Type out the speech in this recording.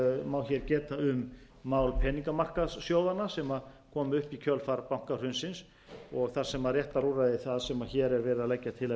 má hér geta um mál peningamarkaðssjóðanna sem kom upp í kjölfar bankahrunsins og þar sem réttarúrræði það sem hér er verið að leggja til að verði innleitt